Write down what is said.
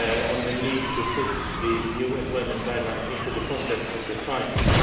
on the need to put these new employment guidelines into the context of the crisis.